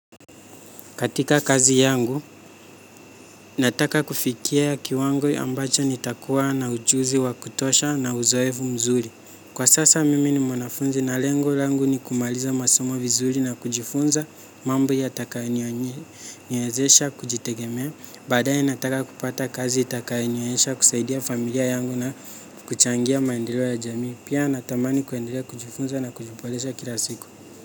Katika kazi yangu, nataka kufikia kiwango ambacho nitakuwa na ujuzi wa kutosha na uzoefu mzuri. Kwa sasa mimi ni mwanafunzi na lengo langu ni kumaliza masomo vizuri na kujifunza, mambo yatakayoniwezesha kujitegemea. Baadaye nataka kupata kazi itakayonionyesha kusaidia familia yangu na kuchangia maendeleo ya jamii. Pia natamani kuendelea kujifunza na kujiboresha kila siku.